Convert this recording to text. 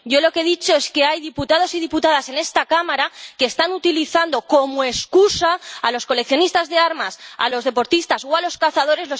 Yo lo que he dicho es que hay diputados y diputadas en esta Cámara que están utilizando como excusa a los coleccionistas de armas, a los deportistas o a los cazadores.